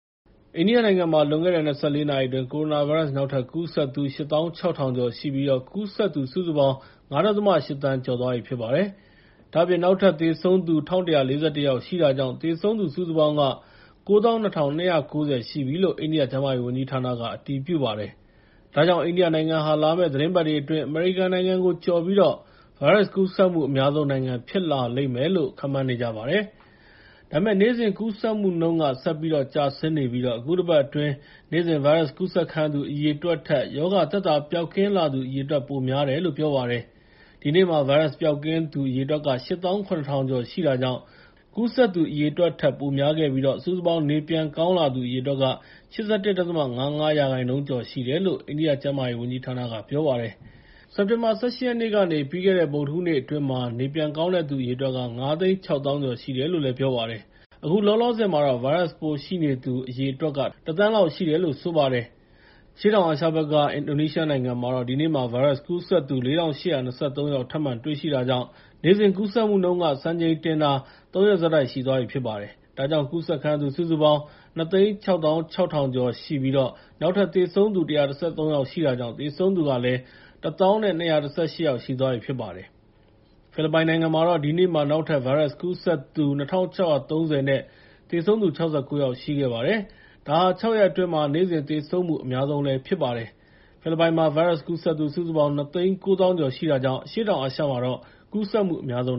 အိန္ဒိယနိုင်ငံမှာ လွန်ခဲ့တဲ့ ၂၄ နာရီအတွင်း ကိုရိုနာဗိုင်းရပ်စ် နောက်ထပ်ကူးစက်သူ ၈၆,၀၀၀ ကျော်ရှိပြီး ကူးစက်သူ ၅.၈ သန်းကျော်သွားပြီဖြစ်ပါတယ်။ ဒါ့အပြင် နောက်ထပ် သေဆုံးသူ ၁,၁၄၁ ယောက်ရှိတာကြောင့် သေဆုံးသူ စုစုပေါင်းက ၉၂,၂၉၀ ရှိပြီလို့ အိန္ဒိယကျန်းမာရေးဝန်ကြီးဌာနက အတည်ပြုပါတယ်။ ဒါကြောင့် အိန္ဒိယနိုင်ငံဟာ လာမယ့်သီတင်းပတ်တွေအတွင်း အမေရိကန်နိုင်ငံကို ကျော်ပြီး ဗိုင်းရပ်စ်ကူးစက်မှု အများဆုံးနိုင်ငံဖြစ်လာလိမ့်မယ်လို့ ခန့်မှန်းနေကြပါတယ်။ ဒါပေမဲ့ နေ့စဉ်ကူးစက်မှုနှုန်းက ဆက်ပြီးတော့ ကျဆင်းနေပြီး အခုတပတ်အတွင်း နေ့စဉ်ဗိုင်းရပ်စ်ကူးစက်ခံရသူ အရေအတွက်ထက် ရောဂါသက်သာပျောက်ကင်းလာသူ အရေအတွက်က ပိုများလာနေတယ်လို့ ပြောပါတယ်။ ဒီနေ့မှာ ဗိုင်းရပ်စ်ပျောက်ကင်းသူ အရေအတွက်က ၈၇,၀၀၀ ကျော်ရှိတာကြောင့် ကူးစက်သူအရေအတွက်ထက် ပိုများခဲ့ပြီး စုစုပေါင်း နေပြန်ကောင်းလာသူ အရေအတွက် ၈၁.၅၅ ရာခိုင်နှုန်းကျော်ရှိတယ်လို့ အိန္ဒိယကျန်းမာရေးဝန်ကြီးဌာနက ပြောပါတယ်။ စက်တင်ဘာ ၁၈ ရက်နေ့ကနေ ပြီးခဲ့တဲ့ ဗုဒ္ဒဟူးနေ့အတွင်းမှာ နေပြန်ကောင်းသူ ၅၆၀,၀၀၀ ကျော်ရှိတယ်လို့လည်း ပြောပါတယ်။ အခုလောလောဆယ်မှာ ဗိုင်းရပ်စ်ပိုးရှိနေသူအရေအတွက် ၁,၀၀၀,၀၀၀ လောက်ရှိတယ်လို့ ဆိုပါတယ်။ အရှေ့တောင်အာရှဘက်က အင်ဒိုနီးရှားနိုင်ငံမှာတော့ ဒီနေ့မှာ ဗိုင်းရပ်စ်ကူးစက်သူ ၄,၈၂၃ ယောက်ထပ်မံတွေ့ရှိတာကြောင့် နေ့စဉ်ကူးစက်မှုနှုန်း စံချိန်တင်တာ ၃ ရက်ဆက်တိုက်ရှိသွားပြီဖြစ်ပါတယ်။ ဒါကြောင့် ကူးစက်ခံရသူ စုစုပေါင်း ၂၆၆,၈၄၅ ယောက်ရှိပြီး နောက်ထပ် သေဆုံးသူ ၁၁၃ ယောက်ရှိတာကြောင့် သေဆုံးသူလည်း ၁၀,၂၁၈ ရှိသွားပြီဖြစ်ပါတယ်။ ဖိလစ်ပိုင်နိုင်ငံမှာတော့ ဒီနေ့မှာ နောက်ထပ်ကူးစက်သူ ၂,၆၃၀ နဲ့ သေဆုံးသူ ၆၉ ယောက်ရှိပါတယ်။ ဒါဟာ ၆ ရက်အတွင်းမှာ နေ့စဉ်သေဆုံးမှု အများဆုံးဖြစ်ပါတယ်။ ဖိလစ်ပိုင်မှာ ဗိုင်းရပ်စ်ကူးစက်သူ စုစုပေါင်း ၂၉၀,၀၀၀ ကျော်ရှိတာကြောင့် အရှေ့တောင်အာရှမှာတော့ ကူးစက်မှုအများဆုံး